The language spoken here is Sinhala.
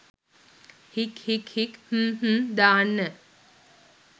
හික් හික් හික් හ්ම් හ්ම් දාන්න